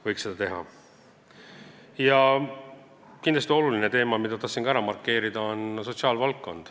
Kindlasti on sotsiaalvaldkond oluline teema, mille tahtsin ka ära markeerida.